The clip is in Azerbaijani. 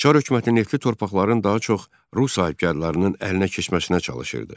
Çar hökuməti neftli torpaqların daha çox rus sahibkarlarının əlinə keçməsinə çalışırdı.